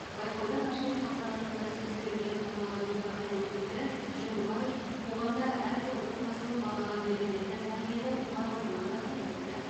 байқаудың ашылу салтанатында сөз сөйлеген аталған департамент өкілі жүндібаев қоғамда әрбір отбасы мен балаға берілетін тәрбиенің маңыздылығын атап өтті